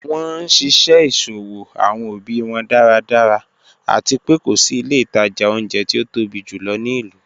Wọn nṣiṣẹ iṣowo awọn obi wọn daradara, ati pé ko si ilẹ̀ itaja ọ̀unjẹ̀ ti o tobi júlọ̀ ni ilu.